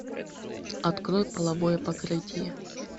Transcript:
открой половое покрытие